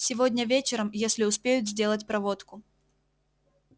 сегодня вечером если успеют сделать проводку